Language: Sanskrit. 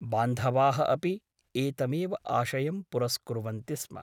बान्धवाः अपि एतमेव आशयं पुरस्कुर्वन्ति स्म ।